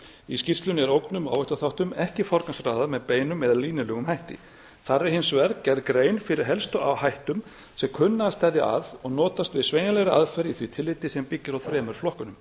í skýrslunni er ógnum og áhættuþætti ekki forgangsraðað með beinum eða leynilegum hætti þar er hins vegar gerð grein fyrir helstu áhættuþáttum sem kunna að steðja að og notast við sveigjanlegri aðferð í því tilliti sem byggist á þremur flokkum